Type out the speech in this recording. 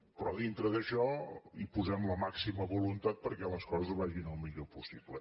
però dintre d’això hi posem la màxima voluntat perquè les coses vagin el millor possible